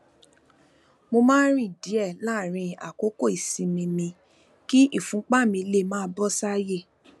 mo máa ń rìn díè láàárín àkókò ìsinmi mi kí ìfúnpá mi lè máa lọ bó ṣe yẹ